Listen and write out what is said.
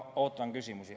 Ootan küsimusi.